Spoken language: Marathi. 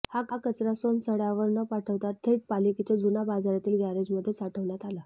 हा कचरा सोनसड्यावर न पाठवता थेट पालिकेच्या जुन्या बाजारातील गॅरेजमध्ये साठवण्यात आला